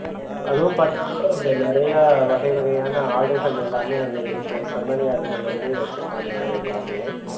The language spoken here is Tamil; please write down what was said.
அது பாத்தீங்கள அங்க நிறைய வகை வகையான ஆடுகள் எல்லாமே அங்கே இருக்கும் செம்மறி ஆடுகள் வந்து வச்சிருக்காங்க அங்க எல்லாமே